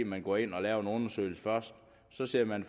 man går ind og laver en undersøgelse først så sidder man